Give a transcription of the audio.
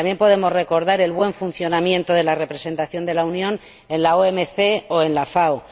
También podemos recordar el buen funcionamiento de la representación de la Unión en la OMC o en la FAO.